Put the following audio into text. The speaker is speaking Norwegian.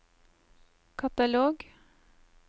katalog